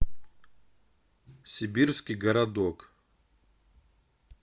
сибирский городок